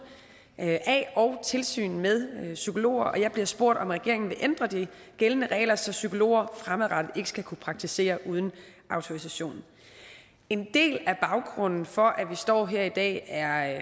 af og tilsyn med psykologer jeg bliver spurgt om regeringen vil ændre de gældende regler så psykologer fremadrettet ikke skal kunne praktisere uden autorisation en del af baggrunden for at vi står her i dag er